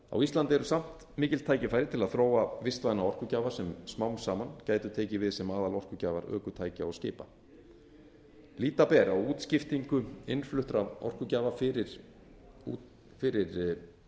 á íslandi eru samt mikil tækifæri til þess að þróa vistvæna orkugjafa sem smám saman gætu tekið við sem aðalorkugjafar ökutækja og skipa líta ber á útskiptingu innfluttra orkugjafa fyrir